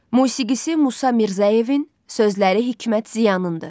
Musiqisi Musa Mirzəyevin, sözləri Hikmət Ziyanındır.